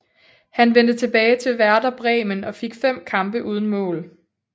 Han vendte tilbage til Werder Bremen og fik 5 kampe uden mål